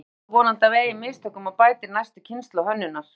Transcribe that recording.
Fólk lærir þó vonandi af eigin mistökum og bætir næstu kynslóð hönnunar.